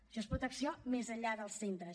això és protecció més enllà dels centres